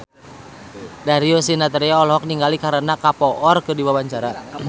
Darius Sinathrya olohok ningali Kareena Kapoor keur diwawancara